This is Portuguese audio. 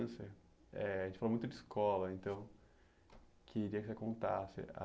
Eh a gente falou muito de escola, então queria que você contasse a...